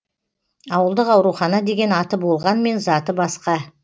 ауылдық аурухана деген аты болғанмен заты басқа